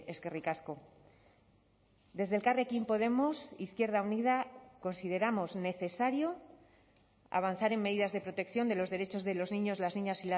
eskerrik asko desde elkarrekin podemos izquierda unida consideramos necesario avanzar en medidas de protección de los derechos de los niños las niñas